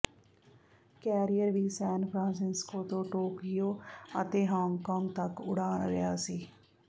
career ਵੀ San Francisco ਤੋਂ Tokyo ਅਤੇ ਹਾਂਗਕਾਂਗ ਤੱਕ ਉਡਾਣ ਰਿਹਾ ਸੀ